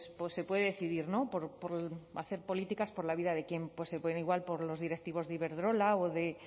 pues se puede decidir no hacer políticas por la vida de quién pues se pueden igual por los directivos de iberdrola o de